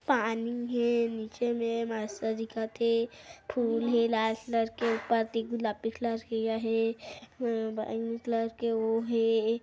पानी हे नीचे में मस्त दिखत हे फूल हे लाल कलर के पत्ती गुलाबी कलर के या हे म कलर के वो हे।